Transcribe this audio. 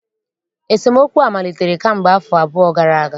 Esemookwu a malitere kamgbe afọ abụọ gara aga